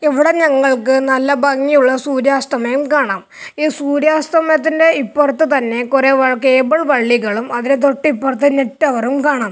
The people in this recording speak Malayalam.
ഇവിടെ ഞങ്ങൾക്ക് നല്ല ഭംഗിയുള്ള സൂര്യാസ്തമയം കാണാം ഈ സൂര്യാസ്തമയത്തിന്റെ ഇപ്പുറത്ത് തന്നെ കുറേ വൾ കേബിൾ വള്ളികളും അതിന് തൊട്ടിപ്പുറത്ത് നെറ്റ് ടവറും കാണാം.